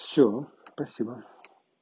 все спасибо